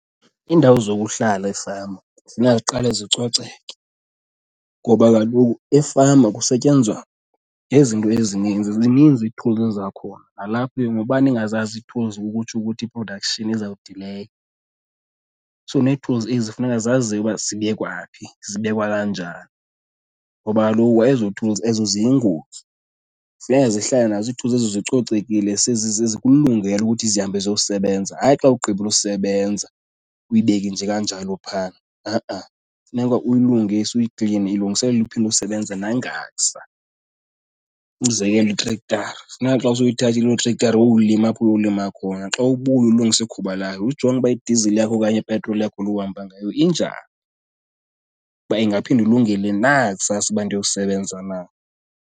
Iindawo zokuhlala efama funeka ziqale zicoceke ngoba kaloku efama kusetyenzwa ngezinto ezininzi, zininzi ii-tools zakhona. Nalapho ke uba ningazazi ii-tools ukutsho ukuthi i-production izawudileya, so nee-tools funeka zaziwe uba zibekwa phi, zibekwa kanjani ngoba kaloku ezo-tools ezo ziyingozi. Funeka zihlale nazo ii-tools ezo zicocekile zize zikulungele ukuthi zihambe ziyokusebenza. Hayi xa ugqibile usebenza uyibeke nje kanjalo phaa, ha-a, funeka uyilungise uyikline ilungiselelwe uphinde isebenze nangakusa. Umzekelo itrektara, funeka xa sowuyithathile lo trektara wayowulima apho uyolima khona xa ubuya ulungise ikhuba layo, ujonge uba idizili yakho okanye ipetroli yakho luhamba ngayo injani. Uba ingaphinde ilungele na kusasa uba ndiyosebenza na.